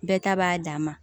Bɛɛ ta b'a dan ma